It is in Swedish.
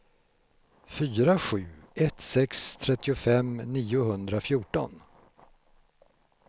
fyra sju ett sex trettiofem niohundrafjorton